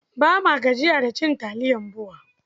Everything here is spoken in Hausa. Ba ma gajiya da cin taliyar BUA.